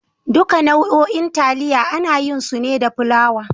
Duka nau'o'in taliya ana yin su ne da fulawa.